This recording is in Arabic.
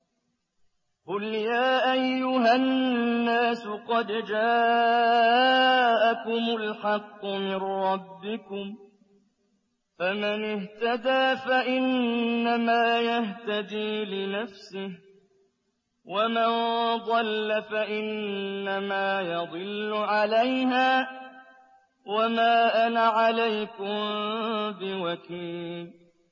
قُلْ يَا أَيُّهَا النَّاسُ قَدْ جَاءَكُمُ الْحَقُّ مِن رَّبِّكُمْ ۖ فَمَنِ اهْتَدَىٰ فَإِنَّمَا يَهْتَدِي لِنَفْسِهِ ۖ وَمَن ضَلَّ فَإِنَّمَا يَضِلُّ عَلَيْهَا ۖ وَمَا أَنَا عَلَيْكُم بِوَكِيلٍ